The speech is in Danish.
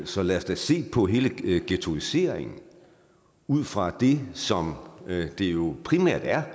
så lad os da se på hele ghettoiseringen ud fra det som det jo primært er